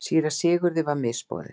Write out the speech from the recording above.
Síra Sigurði var misboðið.